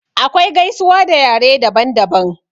Akwai gaisuwa a yare daban daban.